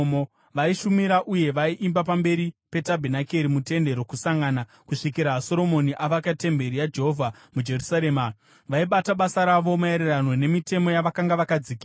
Vaishumira uye vaiimba pamberi petabhenakeri, muTende Rokusangana, kusvikira Soromoni avaka temberi yaJehovha muJerusarema. Vaibata basa ravo maererano nemitemo yavakanga vakadzikirwa.